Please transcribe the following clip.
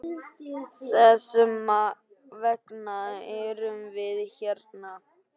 Þess vegna erum við hérna!